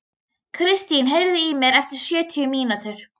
Kristin, heyrðu í mér eftir sjötíu mínútur.